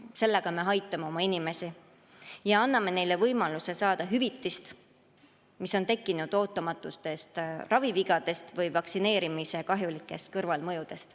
Sellega me aitame oma inimesi ja anname neile võimaluse saada hüvitist, mis on tekkinud ravivigade või vaktsineerimise kahjulike kõrvalmõjude tõttu.